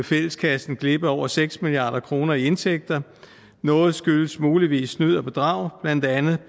fælleskassen glip af over seks milliard kroner i indtægter noget skyldes muligvis snyd og bidrag blandt andet